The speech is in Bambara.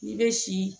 N'i bɛ si